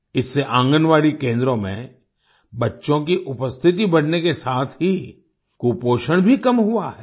इससे आंगनबाड़ी केन्द्रों में बच्चों की उपस्थिति बढ़ने के साथ ही कुपोषण भी कम हुआ है